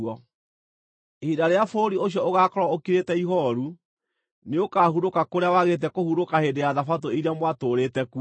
Ihinda rĩrĩa bũrũri ũcio ũgaakorwo ũkirĩte ihooru, nĩũkahurũka kũrĩa wagĩte kũhurũka hĩndĩ ya Thabatũ iria mwatũũrĩte kuo.